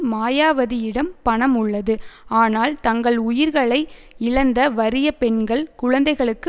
மாயாவதியிடம் பணம் உள்ளது ஆனால் தங்கள் உயிர்களை இழந்த வறிய பெண்கள் குழந்தைகளுக்கு